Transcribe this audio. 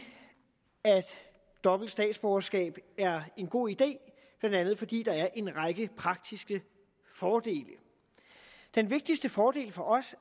at dobbelt statsborgerskab er en god idé blandt andet fordi der er en række praktiske fordele den vigtigste fordel for os